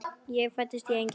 Hann fæddist í Engey.